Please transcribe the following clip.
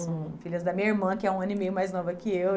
São filhas da minha irmã, que é um ano e meio mais nova que eu.